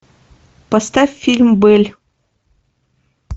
поставь фильм белль